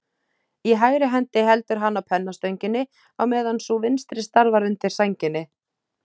Í hægri hendi heldur hann á pennastönginni, á meðan sú vinstri starfar undir sænginni.